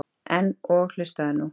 En. og hlustaðu nú